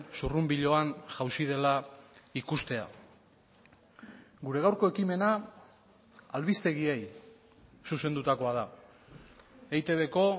zurrunbiloan jauzi dela ikustea gure gaurko ekimena albistegiei zuzendutakoa da eitbko